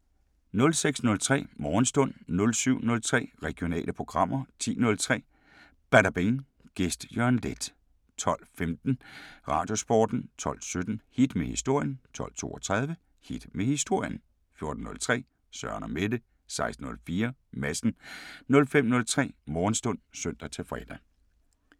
06:03: Morgenstund 07:03: Regionale programmer 10:03: Badabing: Gæst Jørgen Leth 12:15: Radiosporten 12:17: Hit med historien 12:32: Hit med historien 14:03: Søren & Mette 16:04: Madsen 05:03: Morgenstund (søn-fre)